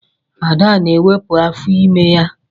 Ada na-ewepụ afọ ime ya.